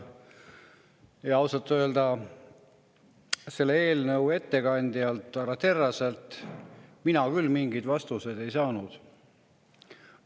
Ausalt öelda mina selle eelnõu ettekandjalt härra Terraselt küll mingeid vastuseid ei saanud.